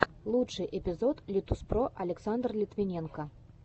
лучший эпизод литуспро александр литвиненко